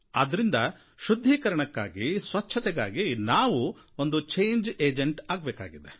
ಆದ್ದರಿಂದ ಶುದ್ಧೀಕರಣಕ್ಕಾಗಿ ಸ್ವಚ್ಛತೆಗಾಗಿ ನಾವು ಒಂದು ಚೇಂಜ್ ಏಜೆಂಟ್ ಆಗಬೇಕಾಗಿದೆ